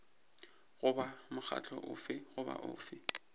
goba mokgatlo ofe goba ofe